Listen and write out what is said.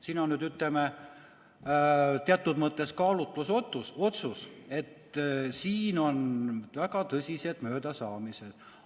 Siin on nüüd, ütleme, teatud mõttes kaalutlusotsus, et siin on väga tõsised möödasaamised.